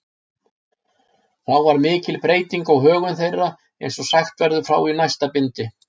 Þá varð mikil breyting á högum þeirra, eins og sagt verður frá í næsta bindi.